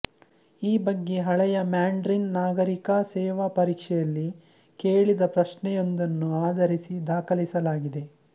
ಈ ಬಗ್ಗೆ ಹಳೆಯ ಮ್ಯಾಂಡ್ರಿನ್ ನಾಗರಿಕ ಸೇವಾ ಪರೀಕ್ಷೆಯಲ್ಲಿ ಕೇಳಿದ ಪ್ರಶ್ನೆಯೊಂದನ್ನು ಆಧರಿಸಿ ದಾಖಲಿಸಲಾಗಿದೆ